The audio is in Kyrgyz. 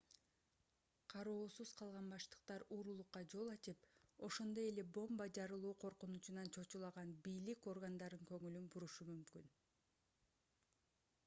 кароосуз калган баштыктар уурулукка жол ачып ошондой эле бомба жарылуу коркунучунан чочулаган бийлик органдарын көңүлүн бурушу мүмкүн